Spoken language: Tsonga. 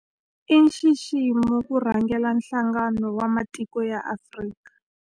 I nxiximo ku rhangela Nhlangano wa Matiko ya Afrika.